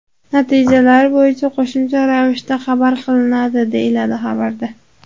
Natijalari bo‘yicha qo‘shimcha ravishda xabar qilinadi, deyiladi xabarda.